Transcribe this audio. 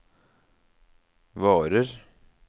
varer